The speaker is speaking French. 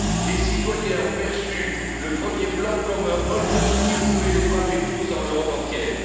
Les citoyens ont perçu le premier plan comme un hold up qui pouvait les frapper tous dans l'Europe entière.